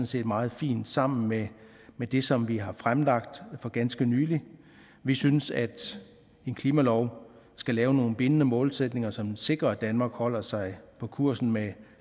set meget fint sammen med med det som vi har fremlagt for ganske nylig vi synes at en klimalov skal have nogle bindende målsætninger så den sikrer at danmark holder sig på kursen med